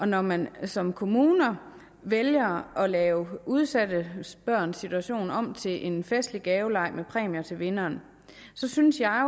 når man som kommune vælger at lave udsatte børns situation om til en festlig gaveleg med præmier til vinderen så synes jeg